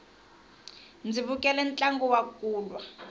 ndzi vukele ntlangu wa kulwa